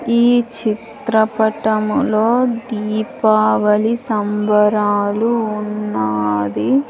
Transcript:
ఈ చిత్రపటంలో దీపావళి సంబరాలు ఉన్నాది.